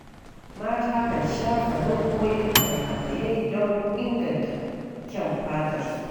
Mata kan shafa nau'o'in maya-mayai don inganta kyan fatarsu.